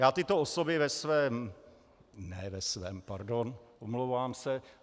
Já tyto osoby ve svém - ne ve svém, pardon, omlouvám se.